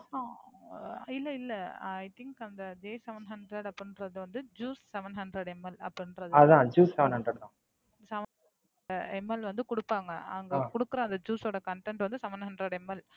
இல்ல இல்ல I think அந்த J seven hundred அப்படிங்கறது வந்து Juice seven hundred ml அப்படின்றது வந்து Juice seven hundred Seven ml வந்து கொடுப்பாங்க அங்க கொடுக்கற அந்த Juice ஓட Content வந்து seven hundred ml